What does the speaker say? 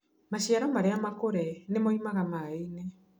Maciaro marĩa makũre nĩ moimaga maĩ-inĩ